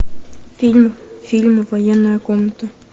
фильм фильмы военная комната